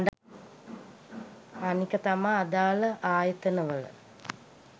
අනික තමා අදාල ආයතන වල